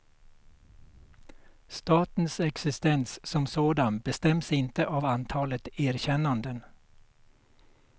Statens existens som sådan bestäms inte av antalet erkännanden.